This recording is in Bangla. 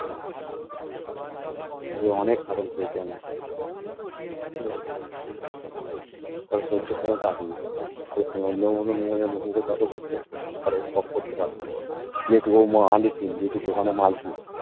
ওকে অনেক শাসন করেছি আমি ঠিক আছে ওর সহ্য ক্ষমতা আছে কিন্তু অন্য কোনো মেয়ে হলে মুখে মুখে তর্ক করতো তবে stop করতে পারতো যেহেতু ওর মা আলেকিন যেহেতু দোকানের মালকিন